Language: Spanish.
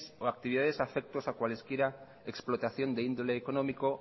o actividades afectos a cualesquiera explotación de índole económico